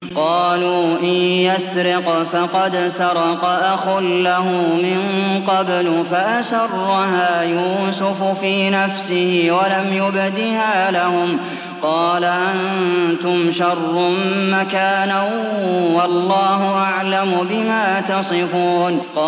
۞ قَالُوا إِن يَسْرِقْ فَقَدْ سَرَقَ أَخٌ لَّهُ مِن قَبْلُ ۚ فَأَسَرَّهَا يُوسُفُ فِي نَفْسِهِ وَلَمْ يُبْدِهَا لَهُمْ ۚ قَالَ أَنتُمْ شَرٌّ مَّكَانًا ۖ وَاللَّهُ أَعْلَمُ بِمَا تَصِفُونَ